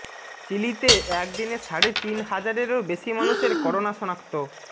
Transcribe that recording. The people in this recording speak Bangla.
চিলিতে একদিনে সাড়ে তিন হাজারেরও বেশি মানুষের করোনা শনাক্ত